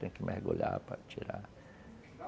Tem que mergulhar para tirar.